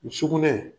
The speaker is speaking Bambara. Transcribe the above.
Sugunɛ